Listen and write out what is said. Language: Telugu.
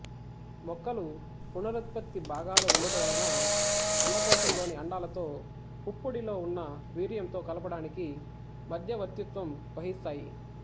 మొక్కలు పునరుత్పత్తి భాగాలు ఉండుట వలన అండకోశం లోని అండాలతో పుప్పొడిలో ఉన్న వీర్యంతో కలపడానికి మధ్యవర్తిత్వం వహిస్తాయి